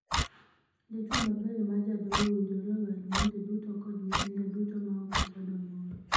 Dichwo maber ma ja doho owinjore oher monde duto kod nyithinde duto ma ok okwedo moro.